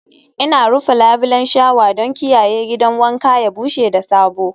Ina rufe labulen shawa don kiyaye gidan wanka ya bushe da sabo